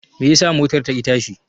Meye yasa motar ta ki tashi?